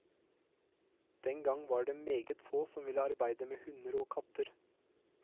Den gang var det meget få som ville arbeide med hunder og katter.